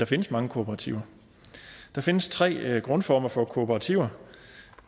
findes mange kooperativer der findes tre grundformer for kooperativer